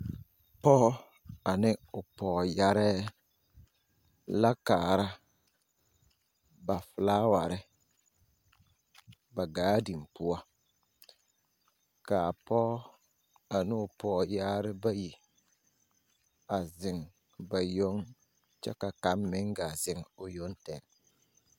Pͻͻ ane o pͻͻyarԑԑ la kaara ba filaaware ba gaadin poͻ. Kaa pͻͻ ane o pͻͻyaare bayi a zeŋ ba yoŋ kyԑ ka kaŋ meŋ gaa zeŋ o yoŋ tԑge.